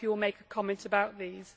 I hope you will make a comment on this.